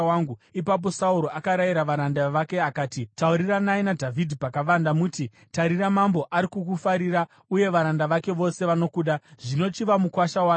Ipapo Sauro akarayira varanda vake akati, “Tauriranai naDhavhidhi pakavanda muti, ‘Tarira, mambo ari kukufarira, uye varanda vake vose vanokuda; zvino, chiva mukuwasha wake.’ ”